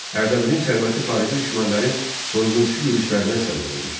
Ərdəbilin sərvəti xarici düşmənlərin soyğunçu yürüşlərinə səbəb olmuşdu.